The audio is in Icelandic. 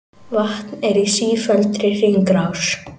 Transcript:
Vatn er í sífelldri hringrás.